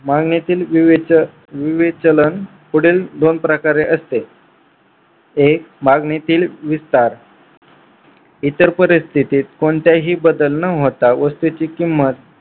मागणीतील विवेचन विवेचलन पुढील दोन प्रकारे असते एक मागणीतील विस्तार इतर परिस्थितीत कोणताही बदल न होता वस्तूची किंमत